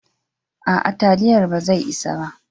A'a, taliyar ba zai isa ba